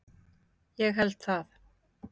Ég held það.